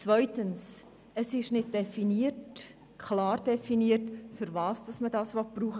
Zweitens: Es ist nicht definiert, nicht klar definiert, wofür man dies brauchen will.